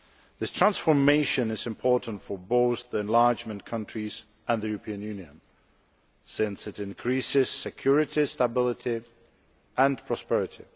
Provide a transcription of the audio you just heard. This transformation is important for both the enlargement countries and the European Union since it increases security, stability and prosperity.